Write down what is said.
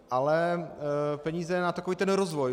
Ale peníze na takový ten rozvoj.